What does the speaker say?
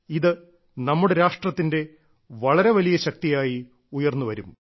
ഇത് നമ്മുടെ രാഷ്ട്രത്തിന്റെ വളരെ വലിയ ശക്തിയായി ഉയർന്നു വരും